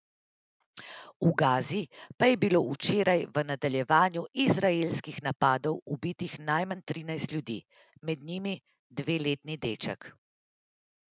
V Gazi pa je bilo včeraj v nadaljevanju izraelskih napadov ubitih najmanj trinajst ljudi, med njimi dveletni deček.